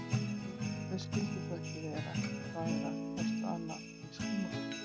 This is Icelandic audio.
Þau skyldu þó ekki vera að daðra hvort við annað í skúmaskoti?